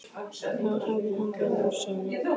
Þá hefði þetta verið úr sögunni.